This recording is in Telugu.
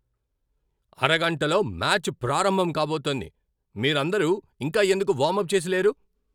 అరగంటలో మ్యాచ్ ప్రారంభం కాబోతోంది. మీరందరూ ఇంకా ఎందుకు వార్మప్ చేసి లేరు?